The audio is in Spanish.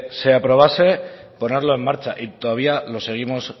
se aprobase ponerlo en marcha y todavía los seguimos